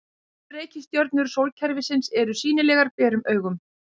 Fimm reikistjörnur sólkerfisins eru sýnilegar berum augum.